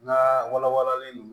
N ka walawalalen n